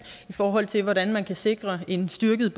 i forhold til hvordan man kan sikre en styrket